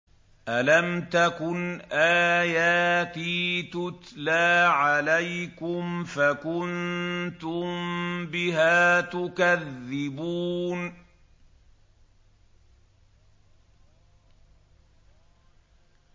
أَلَمْ تَكُنْ آيَاتِي تُتْلَىٰ عَلَيْكُمْ فَكُنتُم بِهَا تُكَذِّبُونَ